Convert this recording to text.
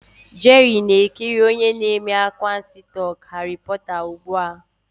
Jerry na-ekiri onye na-eme anwansi talk Harry porter ugbu a.